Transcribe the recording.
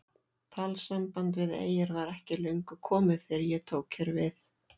Talsamband við eyjar var ekki löngu komið þegar ég tók hér við.